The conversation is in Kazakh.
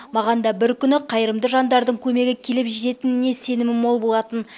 маған да бір күні қайырымды жандардың көмегі келіп жететініне сенімім мол болатын